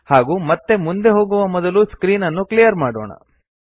ಹಾಗೂ ಮತ್ತೆ ಮುಂದೆ ಹೋಗುವ ಮೊದಲು ಸ್ಕ್ರೀನ್ ಅನ್ನು ಕ್ಲಿಯರ್ ಮಾಡೋಣ